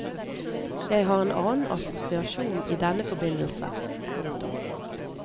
Jeg har en annen assosiasjon i denne forbindelse. punktum